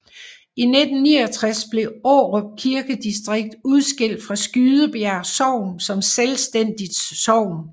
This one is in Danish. I 1969 blev Årup Kirkedistrikt udskilt fra Skydebjerg Sogn som selvstændigt sogn